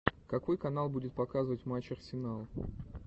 какой канал будет показывать матч арсенал